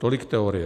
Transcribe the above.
Tolik teorie.